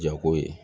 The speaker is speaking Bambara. Jago ye